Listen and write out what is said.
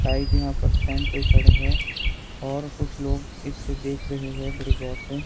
Type यहां पर stand पर खड़े हैं और कुछ लोग इसे देख रहे है बड़ी गौर से।